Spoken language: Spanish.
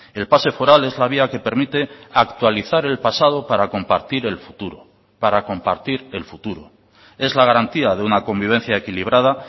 el pase foral es la vía que permite actualizar el pasado para compartir el futuro para compartir el futuro es la garantía de una convivencia equilibrada